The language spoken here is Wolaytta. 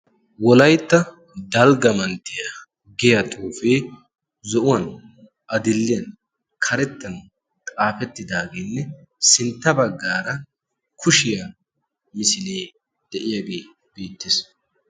Wolaytta dalgga manttiya giyaa xuufee zo'uwaan, adl''iya karettan xaafetidagenne sintta baggaara kushiyaa misile de'iyaagee beettees.